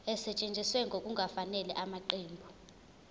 esetshenziswe ngokungafanele ngamaqembu